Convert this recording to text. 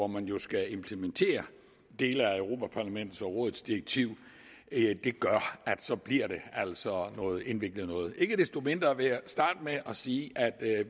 man jo skal implementere dele af europa parlamentets og rådets direktiv gør at så bliver det altså noget indviklet noget ikke desto mindre vil jeg starte med at sige at